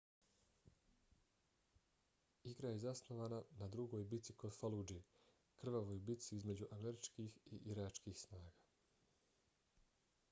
igra je zasnovana na drugoj bici kod faludže krvavoj bici između američkih i iračkih snaga